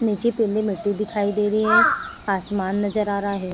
निचे पेंदी मिट्टी दिखाई दे रही है। आसमान नजर आ रह है।